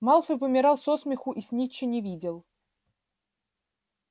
малфой помирал со смеху и снитча не видел